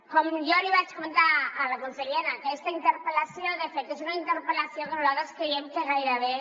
com ja li vaig comentar a la consellera aquesta interpel·lació de fet és una interpel·lació que nosaltres creiem que gairebé